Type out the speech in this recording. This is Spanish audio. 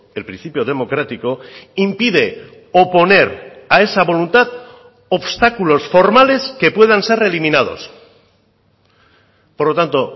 el principio democrático impide oponer a esa voluntad obstáculos formales que puedan ser reeliminados por lo tanto